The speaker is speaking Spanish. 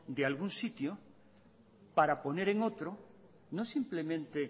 de un sitio para poner en otro no simplemente